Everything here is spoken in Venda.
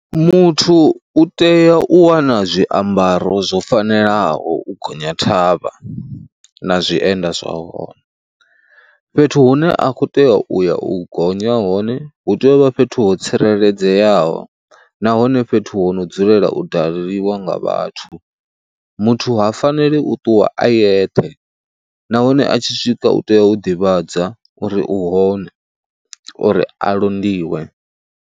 Muthu u tea u wana zwiambaro zwo fanelaho u gonya thavha na zwienda zwa hone, fhethu hune a kho tea u ya u gonya hone hu tea u vha fhethu ho tsireledzeaho nahone fhethu ho no dzulela u daleliwa nga vhathu. Muthu ha faneli u ṱuwa a yeṱhe nahone a tshi swika u tea u ḓivhadza uri u hone uri a londiwe.